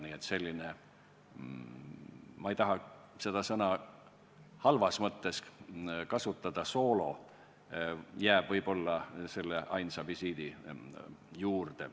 Nii et selline soolo – ma ei taha seda sõna halvas mõttes kasutada – jäi võib-olla selle ainsa visiidi juurde.